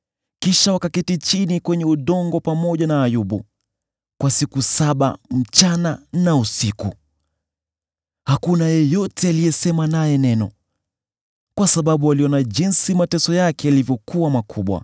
Kisha wakaketi chini kwenye udongo pamoja na Ayubu kwa siku saba usiku na mchana. Hakuna yeyote aliyesema naye neno, kwa sababu waliona jinsi mateso yake yalivyokuwa makubwa.